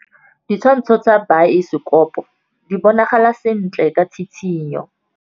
Ditshwantshô tsa biosekopo di bonagala sentle ka tshitshinyô.